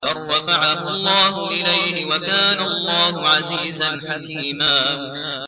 بَل رَّفَعَهُ اللَّهُ إِلَيْهِ ۚ وَكَانَ اللَّهُ عَزِيزًا حَكِيمًا